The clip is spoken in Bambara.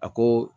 A ko